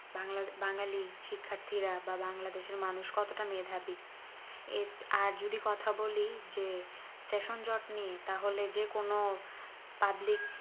বাংলা বাঙালি শিক্ষার্থীরা বা বাংলাদেশ এর মানুষ কতটা মেধাবী এ আর যদি কথা বলি যে সেশনজট নিয়ে তাহলে যে কোনো public